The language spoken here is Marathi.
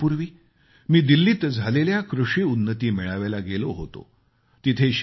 काही दिवसांपूर्वी मी दिल्लीत झालेल्या कृषी उन्नती मेळाव्याला गेलो होतो